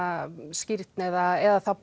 skírn eða þá